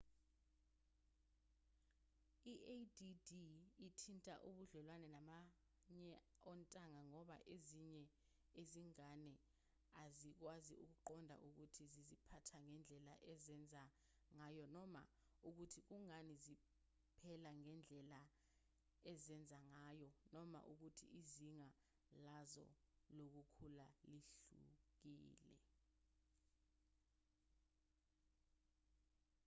i-add ithinta ubudlelwane nabanye ontanga ngoba ezinye izingane azikwazi ukuqonda ukuthi ziziphatha ngendlela ezenza ngayo noma ukuthi kungani zipela ngendlela ezenza ngayo noma ukuthi izinga lazo lokukhula lihlukile